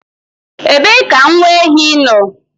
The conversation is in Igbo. Ebee ka nwa ehi nọ?